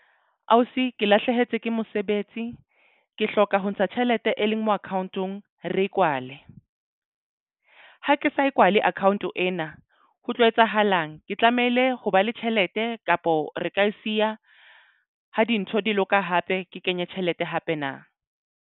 Ausi ke lahlehetswe ke mosebetsi ke hloka ho ntsha tjhelete e leng mo account-ong re e kwale ha ke sa e kwale account ena ho tlo etsahalang ke tlamehile ho ba le tjhelete kapo re ka e siya ha dintho di loka hape ke kenye tjhelete hape na?